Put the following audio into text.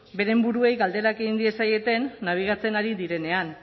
beren buruei galderak egin diezaieten nabigatzen ari direnean